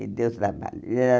Ele deu trabalho. Ele era